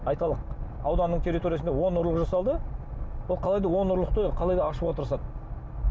айталық ауданның территориясында он ұрлық жасалды ол қалайда он ұрлықты қалайда ашуға тырысады